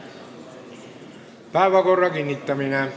Päevakorra kinnitamine.